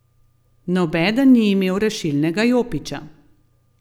Nobeden ni imel rešilnega jopiča.